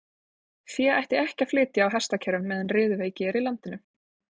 Fé ætti ekki að flytja á hestakerrum meðan riðuveiki er í landinu.